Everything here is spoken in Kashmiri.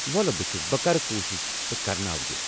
وۄلہٕ بہٕ وُچھہِ، بہٕ کرٕ كوُشِش تہٕ كرناوٕ یہِ۔